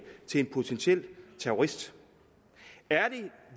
til en potentiel terrorist er det